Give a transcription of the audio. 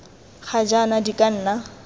ga jaana di ka nna